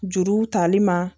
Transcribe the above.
Juruw tali ma